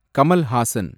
Kamal Haasan